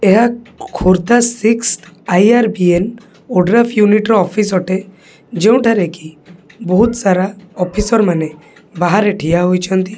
ଏହା ଖୋ Khordha six I R B N ଓଡ୍ର ଅଫ ୟୁନିଟ୍ ର ଅଫିସ୍ ଅଟେ ଯେଉଁଠାରେ କି ବହୁତ ସାରା ଅଫିସର୍ ମାନେ ବାହାରେ ଠିଆ ହୋଇଛନ୍ତି।